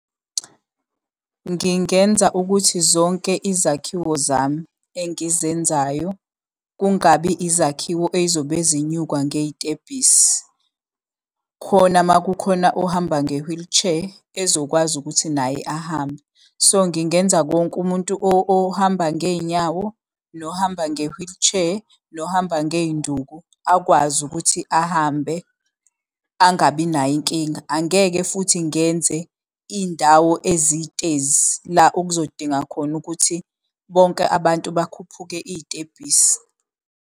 Ngingenza ukuthi zonke izakhiwo zami engizenzayo kungabi izakhiwo ey'zobe zenyukwa ngey'tebhisi, khona uma kukhona ohamba nge-wheelchair ezokwazi ukuthi naye ahambe. So, ngingenza konke umuntu ohamba ngey'nyawo, nohamba nge-wheelchair, nohamba ngey'nduku, akwazi ukuthi ahambe angabi nayo inkinga. Angeke futhi ngenze indawo ezitezi la okuzodinga khona ukuthi bonke abantu bakhuphuke iy'tebhisi.